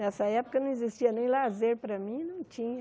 Nessa época, não existia nem lazer para mim, não tinha.